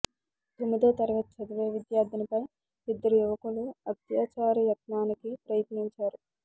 తొమ్మిదో తరగతి చదివే విద్యార్థినిపై ఇద్దరు యువకులు అత్యాచారయత్నానికి ప్రయత్నించారు